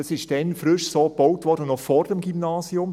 Das war dann frisch so gebaut, noch vor dem Gymnasium.